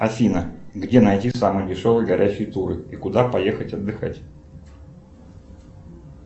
афина где найти самые дешевые горящие туры и куда поехать отдыхать